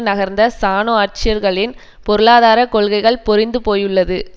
நகர்ந்த சானு ஆட்சியளர்களின் பொருளாதார கொள்கைகள் பொறிந்து போயுள்ளது